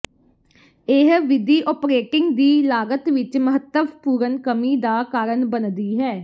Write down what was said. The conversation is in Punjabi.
ਇਹ ਵਿਧੀ ਓਪਰੇਟਿੰਗ ਦੀ ਲਾਗਤ ਵਿੱਚ ਮਹੱਤਵਪੂਰਨ ਕਮੀ ਦਾ ਕਾਰਨ ਬਣਦੀ ਹੈ